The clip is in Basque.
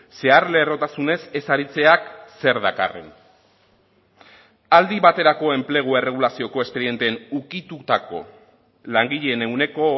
zeharlerrotasunez ez aritzeak zer dakarren aldi baterako enplegu erregulazioko espedienteen ukitutako langileen ehuneko